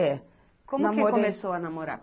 É. Como que começou a namorar?